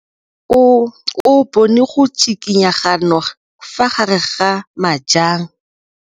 O bone go tshikinya ga noga ka fa gare ga majang.